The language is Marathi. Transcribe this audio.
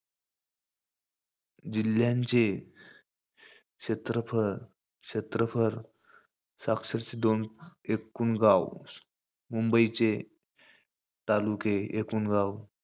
जिल्ह्यांचे क्षेत्रफळ~ क्षेत्रफळ, साक्षरचे दोन, एकुण गाव. मुंबईचे तालुके, एकुण गाव.